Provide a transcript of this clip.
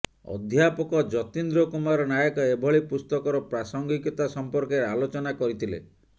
ଅଧ୍ୟାପକ ଯତୀନ୍ଦ୍ର କୁମାର ନାୟକ ଏଭଳି ପୁସ୍ତକର ପ୍ରାସଙ୍ଗିକତା ସଂପର୍କରେ ଆଲୋଚନା କରିଥିଲେ